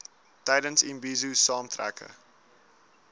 tydens imbizo saamtrekke